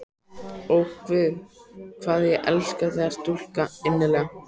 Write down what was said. Ó, guð, hvað ég elska þessa stúlku innilega!